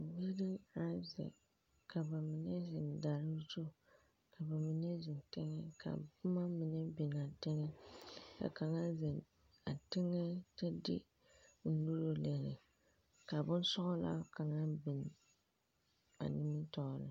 Biiri aŋ zeŋ, ka ba mine zeŋ daare zu, ka ba mine zeŋ teŋԑ, ka boma mine biŋaa teŋԑ, ka kaŋa zeŋe a teŋԑ kyԑ de o nuuri lere. Ka bonsͻgelaa kaŋa biŋ a nimitͻͻreŋ.